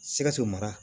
Sikaso mara